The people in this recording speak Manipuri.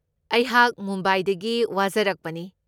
ꯑꯩꯍꯥꯛ ꯃꯨꯝꯕꯥꯏꯗꯒꯤ ꯋꯥ ꯖꯔꯛꯄꯅꯤ꯫